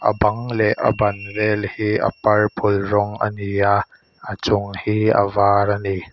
a bang leh a ban vel hi a purple rawng a ni a a chung hi a var a ni.